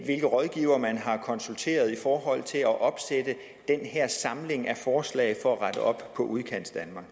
hvilke rådgivere man har konsulteret i forhold til at opsætte den her samling af forslag for at rette op på udkantsdanmark